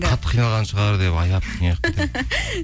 қатты қиналған шығар деп аяп